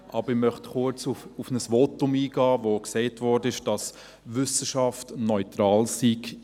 Aber ich möchte kurz auf ein Votum eingehen, in dem gesagt wurde, dass Wissenschaft neutral sei.